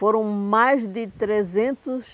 Foram mais de trezentos